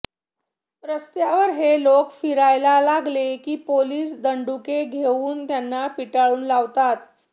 रस्त्यावर हे लोक फिरायला लागले की पोलीस दंडुके घेऊन त्यांना पिटाळून लावतात